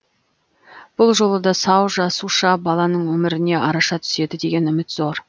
бұл жолы да сау жасуша баланың өміріне араша түседі деген үміт зор